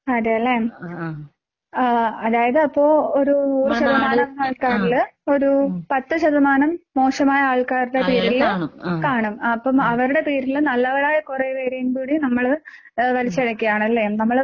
അതേല്ലേ. ആഹ് അതായത് അപ്പൊ ഒരു നൂറ് ശതമാനം ആൾക്കാരില് ഒരു പത്ത് ശതമാനം മോശമായ ആൾക്കാരുടെ പേരില് കാണും. അപ്പം അവരുടെ പേരില് നല്ലവരായ കുറയെ പേരെയും കൂടി നമ്മള് ഏഹ് വലിച്ചെഴക്കയാണല്ലേ? നമ്മള്